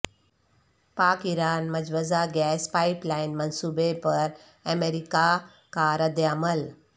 پاک ایران مجوزہ gas pipeline منصوبے پر امریکہ کا ردعمل